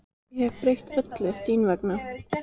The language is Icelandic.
Ég hefði breytt öllu þín vegna.